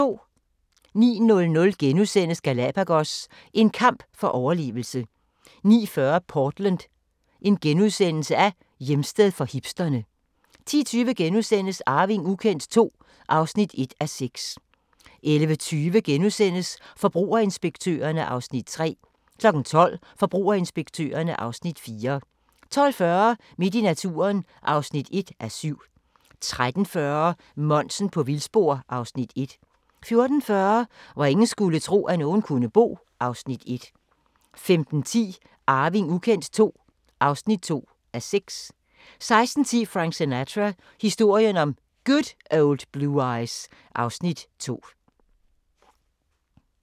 09:00: Galapagos – en kamp for overlevelse * 09:40: Portland: Hjemsted for hipsterne * 10:20: Arving ukendt II (1:6)* 11:20: Forbrugerinspektørerne (Afs. 3)* 12:00: Forbrugerinspektørerne (Afs. 4) 12:40: Midt i naturen (1:7) 13:40: Monsen på vildspor (Afs. 1) 14:40: Hvor ingen skulle tro, at nogen kunne bo (Afs. 1) 15:10: Arving ukendt II (2:6) 16:10: Frank Sinatra – historien om Good Old Blue Eyes (Afs. 2)